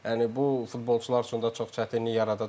Yəni bu futbolçular üçün də çox çətinlik yaradacaq.